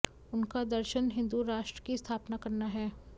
उनका दर्शन हिंदू राष्ट्र की स्थापना करना है